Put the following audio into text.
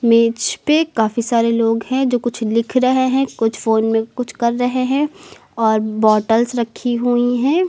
मेज पे काफी सारे लोग हैं जो कुछ लिख रहे हैं कुछ फोन में कुछ कर रहे हैं और बॉटल्स रखी हुई है।